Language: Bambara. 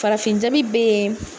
Farafin jabi bɛ yen